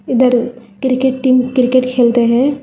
इधर cricket team cricket खेलते हैं।